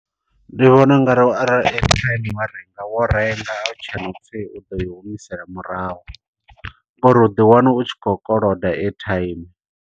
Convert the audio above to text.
Ndi vhona ungari arali airtime wa renga wo renga. A hutshena upfi u ḓo i humisela murahu, ngo uri u ḓi wana u tshi khou koloda airtime.